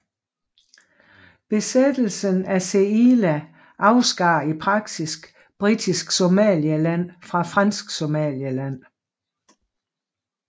Besættelsen af Zeila afskar i praksis Britisk Somaliland fra Fransk Somaliland